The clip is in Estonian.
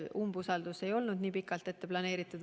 Umbusaldus ei olnud nii pikalt ette planeeritud.